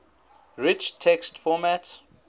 rich text format